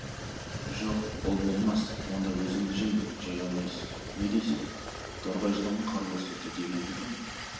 жоқ ол болмас онда өзіңді жеймін жей алмайсың не дейсің торғай жыланға қыр көрсетті дегенді кім